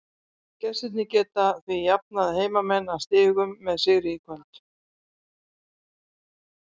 Gestirnir geta því jafnað heimamenn að stigum með sigri í kvöld.